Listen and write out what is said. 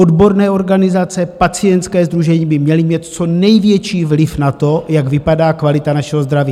Odborné organizace, pacientské sdružení by měly mít co největší vliv na to, jak vypadá kvalita našeho zdraví.